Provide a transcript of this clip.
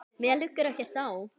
Mér liggur ekkert á.